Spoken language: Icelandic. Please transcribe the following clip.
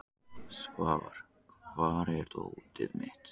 Svafar, hvar er dótið mitt?